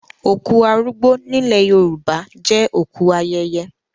Òkú arúgbó nílẹ̀ Yorùbá jẹ́ òkú ayẹyẹ.